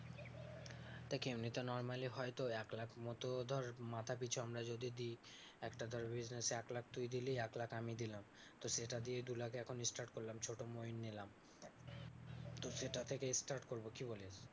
দেখ এমনিতে normally হয়তো এক লাখ মতো ধর মাথাপিছু আমরা যদি দিই একটা ধর business এ এক লাখ তুই দিলি এক লাখ আমি দিলাম, তো সেটা দিয়ে দুলাখে এখন start করলাম ছোট ময়ূর নিলাম তো সেটা থেকে start করবো, কি বলিস?